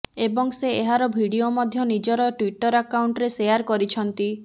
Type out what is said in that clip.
ଏବଂ ସେ ଏହାର ଭିଡିଓ ମଧ୍ୟ ନିଜର ଟ୍ବିଟର ଆକାଉଣ୍ଟରେ ସେୟାର କରିଛନ୍ତି